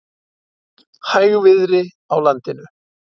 Hægviðri á landinu